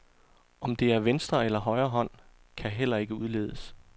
Om det er venstre eller højre hånd, kan heller ikke udledes.